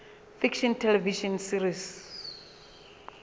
fiction television series